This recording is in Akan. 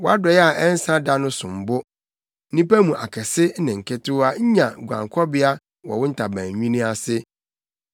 Wʼadɔe a ɛnsa da no som bo! Nnipa mu akɛse ne nketewa nya guankɔbea wɔ wo ntaban nwini ase.